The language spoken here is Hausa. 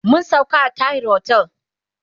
mun sauka a Tahir otel